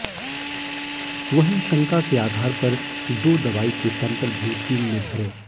वहीं शंका के आधार पर दो दवाई के सैंपल भी टीम ने भरे